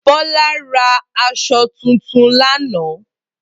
Bola ra aṣọ tuntun lánàá